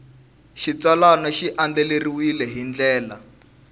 xitsalwana xi andlariwile hi ndlela